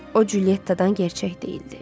O Culyettadan gerçək deyildi.